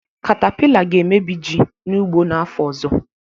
Katapila ga-emebi ji n'ugbo n'afọ ọzọ